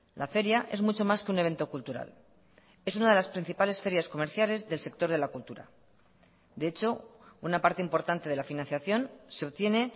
la feria es mucho más que un evento cultural es una de las principales ferias comerciales del sector de la cultura de hecho una parte importante de la financiación se obtiene